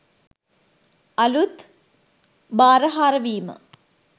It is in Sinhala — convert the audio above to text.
අලුත් භාරහාර වීම